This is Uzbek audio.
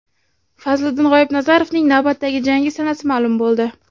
Fazliddin G‘oibnazarovning navbatdagi jangi sanasi ma’lum bo‘ldi.